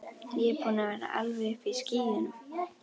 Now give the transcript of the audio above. Ég er búinn að vera alveg uppi í skýjunum.